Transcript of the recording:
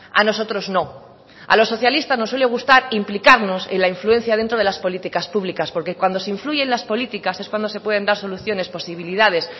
a nosotros no a los socialistas nos suele gustar implicarnos en la influencia dentro de las políticas públicas porque cuando se influye en las políticas es cuando se pueden dar soluciones posibilidades